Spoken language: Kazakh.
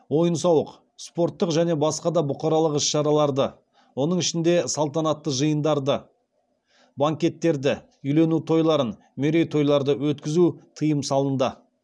ойын сауық спорттық және басқа да бұқаралық іс шараларды оның ішінде салтанатты жиындарды банкеттерді үйлену тойларын мерейтойларды өткізуге тыйым салынды